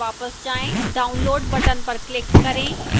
download button पर click करें